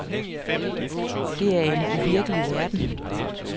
Det er en uvirkelig verden.